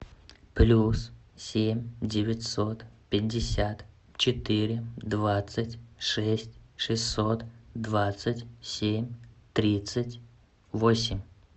плюс семь девятьсот пятьдесят четыре двадцать шесть шестьсот двадцать семь тридцать восемь